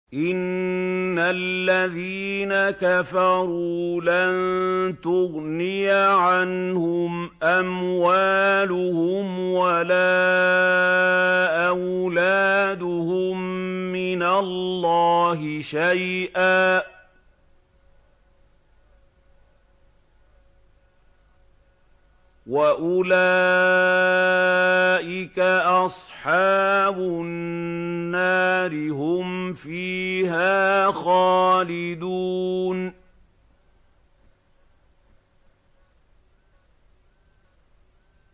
إِنَّ الَّذِينَ كَفَرُوا لَن تُغْنِيَ عَنْهُمْ أَمْوَالُهُمْ وَلَا أَوْلَادُهُم مِّنَ اللَّهِ شَيْئًا ۖ وَأُولَٰئِكَ أَصْحَابُ النَّارِ ۚ هُمْ فِيهَا خَالِدُونَ